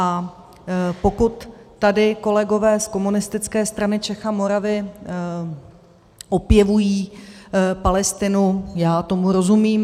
A pokud tady kolegové z Komunistické strany Čech a Moravy opěvují Palestinu - já tomu rozumím.